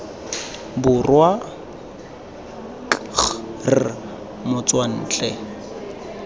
borwa k g r motswantle